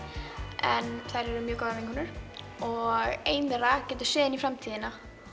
en þær eru mjög góðar vinkonur og ein þeirra getur séð inn í framtíðina